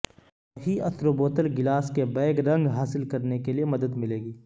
وہی اثر و بوتل گلاس کے بیگ رنگ حاصل کرنے کے لئے مدد ملے گی